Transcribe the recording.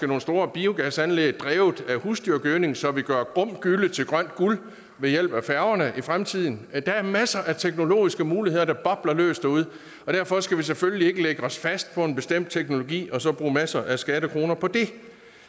nogle store biogasanlæg drevet af husdyrgødning så vi gør grum gylle til grønt guld ved hjælp af færgerne i fremtiden der er masser af teknologiske muligheder der bobler løs derude og derfor skal vi selvfølgelig ikke lægge os fast på en bestemt teknologi og så bruge masser af skattekroner på det